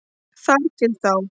Þar til þá.